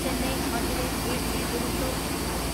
Chennai Madurai AC Duronto express